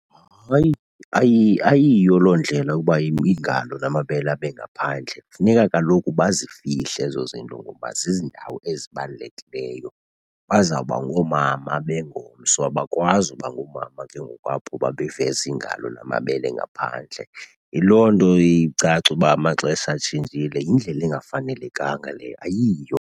Hayi, ayiyo loo ndlela uba iingalo namabele abe ngaphandle. Kufuneka kaloku bazifihle ezo zinto ngoba ziindawo ezibalulekileyo. Bazawuba ngoomama bengomso, abakwazi uba ngoomama ke ngoku apho uba beveze iingalo namabele ngaphandle. Yiloo nto iye icace uba amaxesha atshintshile. Yindlela engafanelekanga leyo, ayiyo.